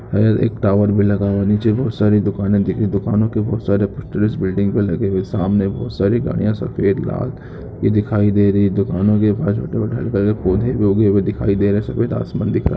यहाँ एक टावर भी लगा हुए हे निचे बहुत सारि दुकाने दिखी दुकानों के बहुत सारे टेरेस बिल्डिंग पे लगे हुए है सामने बहुत सारी गाड़िया सफेद लाल ये दिखाई दे रही है दुकानों के पास पड़े पौधे भी उगे हुए दिखाई दे रहे हे सफ़ेद आसमान भी दिख रहा है।